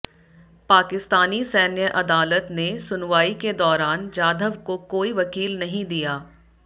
पाकिस्तानी सैन्य अदालत ने सुनवाई के दौरान जाधव को कोई वकील नहीं दिया